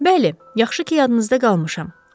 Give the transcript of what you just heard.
Bəli, yaxşı ki, yadınızda qalmışam.